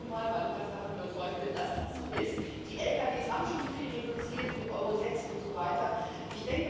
Das sage ich hier nun mal, weil ich fest davon überzeugt bin, dass das so ist. Die Lkw haben schon viel reduziert mit Euro 6 usw.